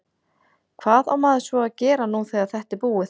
Hvað á maður svo að gera nú þegar þetta er búið?